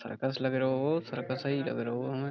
Circus लग रहो circus ही लग रहो हमें।